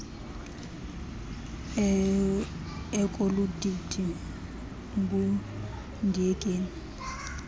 ekolu didi ngundiyekeni